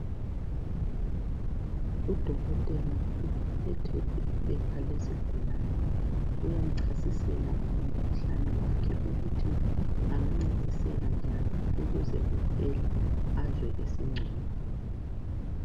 Udokotela uphethe iphepha lesigulane uyamchasisela ngomkhuhlane wakhe ukuthi engancediseka njani ukuze kuphele azwe esengcono.